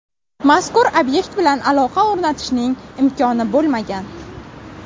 Mazkur obyekt bilan aloqa o‘rnatishning imkoni bo‘lmagan.